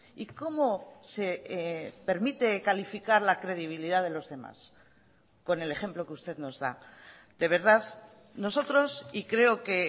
y cómo se permite calificar la credibilidad de los demás con el ejemplo que usted nos da de verdad nosotros y creo que